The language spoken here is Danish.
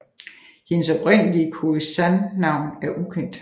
Hendes oprindelige Khoi San navn er ukendt